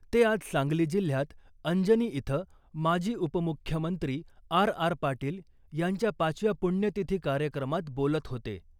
ते आज सांगली जिल्ह्यात अंजनी इथं माजी उपमुख्यमंत्री आर आर पाटील यांच्या पाचव्या पुण्यतिथी कार्यक्रमात बोलत होते .